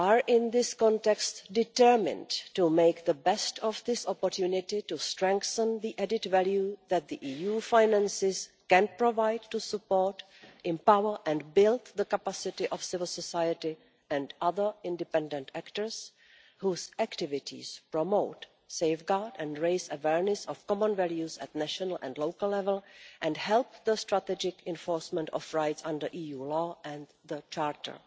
In this context, we are determined to make the best of this opportunity to strengthen the added value that the EU finances can provide to support, empower and build the capacity of civil society and other independent actors whose activities promote, safeguard and raise awareness of common values at national and local level and help the strategic enforcement of rights under EU law and the Charter.